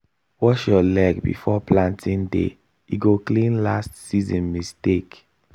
wash your leg before planting day e go clean last season mistake